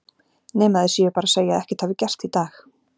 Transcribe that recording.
Nema þeir séu bara að segja að ekkert hafi gerst í dag.